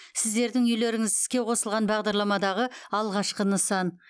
сіздердің үйлеріңіз іске қосылған бағдарламадағы алғашқы нысан